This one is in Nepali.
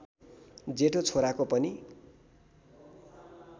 जेठो छोराको पनि